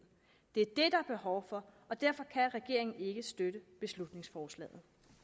det er det er behov for og derfor kan regeringen ikke støtte beslutningsforslaget